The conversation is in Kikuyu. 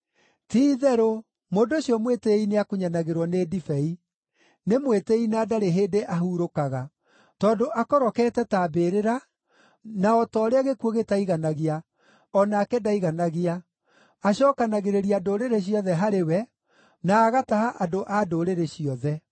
ti-itherũ, mũndũ ũcio mwĩtĩĩi nĩakunyanagĩrwo nĩ ndibei; nĩ mwĩtĩĩi na ndarĩ hĩndĩ ahurũkaga. Tondũ akorokete ta mbĩrĩra, na o ta ũrĩa gĩkuũ gĩtaiganagia, o nake ndaiganagia; acookanagĩrĩria ndũrĩrĩ ciothe harĩ we, na agataha andũ a ndũrĩrĩ ciothe.